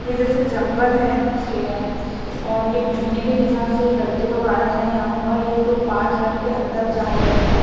ये जैसे जंगल है खें और ये घूमने के हिसाब से लड़के लोग आए हैं यहां पर ये तो पांच लड़के अंदर जा रहे हैं।